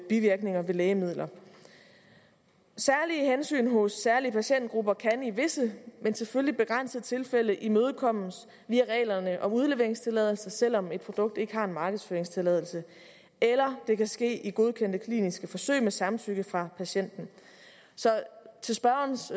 bivirkninger ved lægemidler særlige hensyn hos særlige patientgrupper kan i visse men selvfølgelig begrænsede tilfælde imødekommes via reglerne om udleveringstilladelse selv om et produkt ikke har en markedsføringstilladelse eller det kan ske i godkendte kliniske forsøg med samtykke fra patienten så til spørgerens